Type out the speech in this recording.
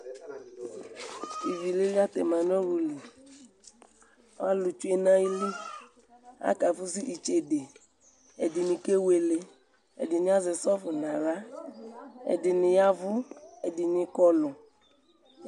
ivi lili atɛma nu ɔwluli alutsue nu ayili akafʊsʊ ɩtsede ɛdɩnɩ kewele ɛdɩnɩ azɛ sɔfɩ nʊ aɣla ɛdɩnɩ yɛ avʊ ɛdɩnɩ kọlʊ